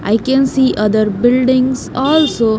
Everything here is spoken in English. I can see other buildings also.